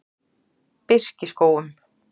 Birkiskógum